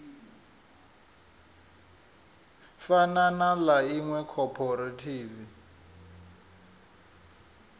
fana na ḽa iṅwe khophorethivi